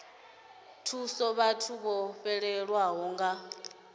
thusa vhathu vho fhelelwaho nga